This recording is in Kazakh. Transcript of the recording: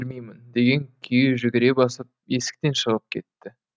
бермеймін деген күйі жүгіре басып есіктен шығып кетті